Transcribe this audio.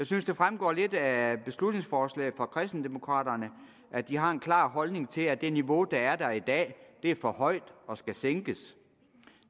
synes det fremgår lidt af beslutningsforslaget fra kristendemokraterne at de har en klar holdning til at det niveau der er i dag er for højt og skal sænkes